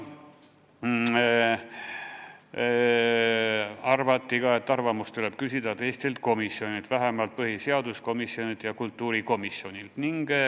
Arvati ka, et arvamust tuleb küsida teistelt komisjonidelt, vähemalt põhiseaduskomisjonilt ja kultuurikomisjonilt.